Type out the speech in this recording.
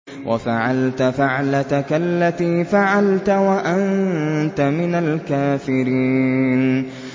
وَفَعَلْتَ فَعْلَتَكَ الَّتِي فَعَلْتَ وَأَنتَ مِنَ الْكَافِرِينَ